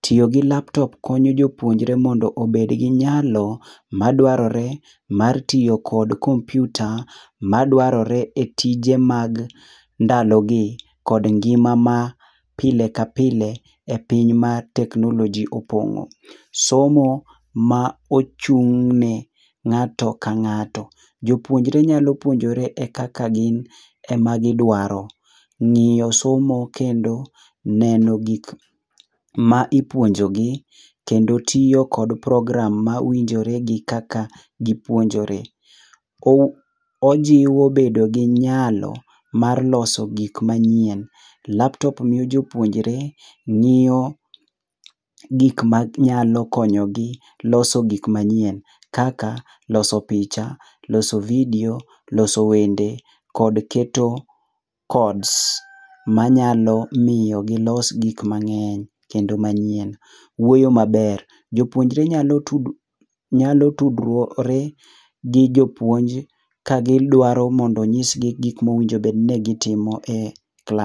Tiyo gi laptop konyo jopuonjre mondo obed gi nyalo madwarore mar tiyo kod kompiuta madwarore e tije mag ndalogi kod ngima ma pile ka pile e piny ma teknoloji opong'o. Somo ma ochung'ne ng'ato ka ng'ato. Jopuonjre nyalo puonjore e kaka gin ema gidwaro. ng'iyo somo kendo neno gik ma ipuonjogi kendo tiyo kod program ma winjore gi kaka gipuonjore. Ojiwo bedo gi nyalo mar loso gik manyien. Laptop miyo jopuonjre ng'iyo gik manyalo konyogi loso gik manyien kaka loso picha, loso vidio, loso wende kod keto codes manyalo miyo gilos gik mang'eny kendo manyien. Wuoyo maber. Jopuonje nyalo tudore gi jopuonj ka gidwaro mondo ong'isgi gik mowinjo bed ni gitimo e klas.